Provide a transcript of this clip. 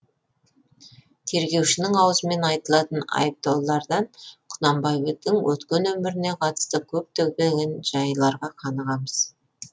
тергеушінің аузымен айтылатын айыптаулардан құнанбайдың өткен өміріне қатысты көптеген жайларға қанығамыз